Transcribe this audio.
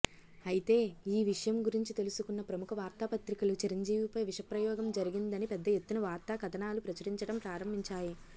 అయితే ఈ విషయం గురించి తెలుసుకున్న ప్రముఖ వార్తాపత్రికలు చిరంజీవిపై విషప్రయోగం జరిగిందని పెద్దఎత్తున వార్తా కథనాలు ప్రచురించడం ప్రారంభించాయి